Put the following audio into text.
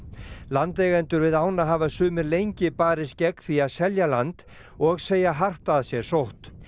landeigendur við ána hafa sumir lengi barist gegn því að selja land og segja hart að sér sótt